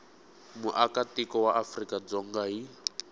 muakatiko wa afrika dzonga hi